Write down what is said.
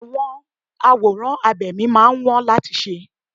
Àwọn àwòrán abẹ̀mí máa ń wón láti ṣe.